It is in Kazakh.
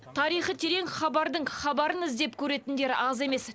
тарихы терең хабардың хабарын іздеп көретіндер аз емес